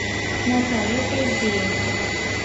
наталье поздеевой